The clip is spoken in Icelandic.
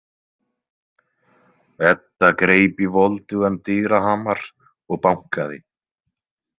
Edda greip í voldugan dyrahamar og bankaði.